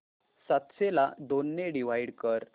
सातशे ला दोन ने डिवाइड कर